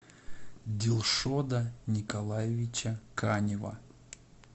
дилшода николаевича канева